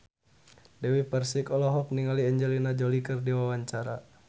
Dewi Persik olohok ningali Angelina Jolie keur diwawancara